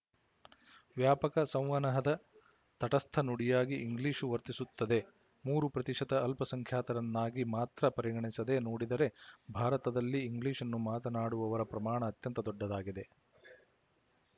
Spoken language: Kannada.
ವ್ಯಾಪಕ ಸಂವಹನದ ತಟಸ್ಥ ನುಡಿಯಾಗಿ ಇಂಗ್ಲಿಶು ವರ್ತಿಸುತ್ತದೆ ಮೂರು ಪ್ರತಿಶತ ಅಲ್ಪಸಂಖ್ಯಾತರನ್ನಾಗಿ ಮಾತ್ರ ಪರಿಗಣಿಸದೆ ನೋಡಿದರೆ ಭಾರತದಲ್ಲಿ ಇಂಗ್ಲಿಶ್‌ನ್ನು ಮಾತನ್ನಾಡುವವರ ಪ್ರಮಾಣ ಅತ್ಯಂತ ದೊಡ್ಡದಾಗಿದೆ